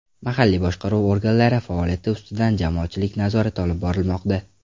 Mahalliy boshqaruv organlari faoliyati ustidan jamoatchilik nazorati olib borilmoqda.